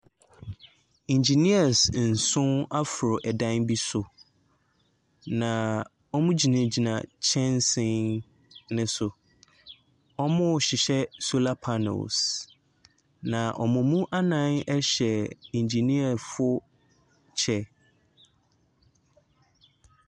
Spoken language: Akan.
Engineers nson aforo dan bi so, na wɔgyinagyina nkyɛnsee no so. Wɔrehyehyɛ solar panels, na wɔn mu nnan hyɛ engineer foɔ kyɛ.